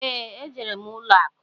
Ee, e jere m ụlọ akụ.